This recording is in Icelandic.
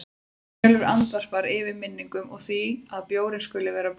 Brynjólfur andvarpar, yfir minningunum og því að bjórinn skuli vera búinn.